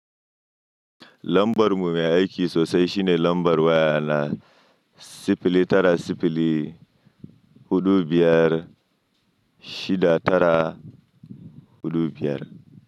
Lambarmu me aiki sosai shine lambar waya na sifili tara sifili huɗu biyar shida tara huɗu biyar.